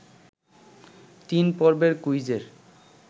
তিন পর্বের কুইজের